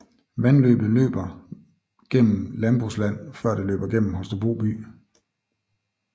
Vandløbet løber gennem landbrugsland før det løber igennem Holstebro by